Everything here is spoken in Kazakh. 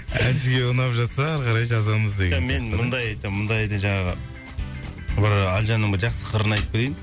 әншіге ұнап жатса ары қарай жазамыз деген сияқты мен мұндайды мұндайды жаңағы ыыы әлжанның жақсы қырын айтып берейін